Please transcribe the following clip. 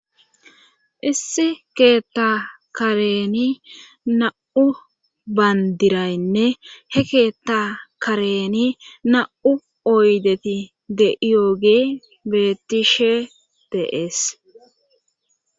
issi keetta kareni na7u bandiraynne he keetta kareni na7u oydeti de iyooge betishe deees